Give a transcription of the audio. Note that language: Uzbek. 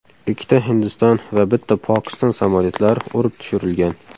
Ikkita Hindiston va bitta Pokiston samolyotlari urib tushirilgan.